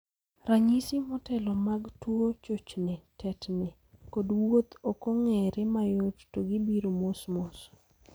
Ranyisi motelo mag tuo chochni (tetni) kod wuoth ok ng'eree mayot to gibiro mos mos.